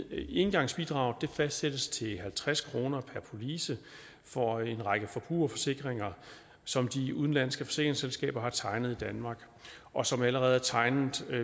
engangsbidraget fastsættes til halvtreds kroner per police for en række forbrugerforsikringer som de udenlandske forsikringsselskaber har tegnet i danmark og som allerede er tegnet